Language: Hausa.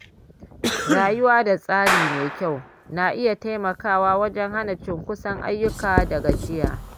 Rayuwa da tsari mai kyau na iya taimakawa wajen hana cunkoson ayyuka da gajiya.